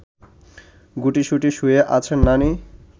গুটিসুটি শুয়ে আছেন নানি